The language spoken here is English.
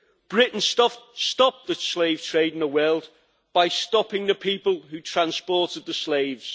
Britain stopped the slave trade in the world by stopping the people who transported the slaves.